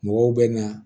Mɔgɔw bɛ na